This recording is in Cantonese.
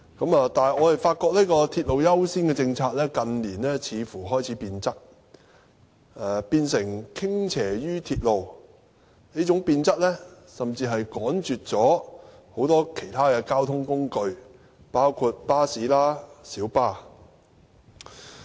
不過，我們發現這個鐵路優先政策，近年似乎開始變質，變成傾斜於鐵路，這種變質甚至趕絕其他交通工具，包括巴士和小巴。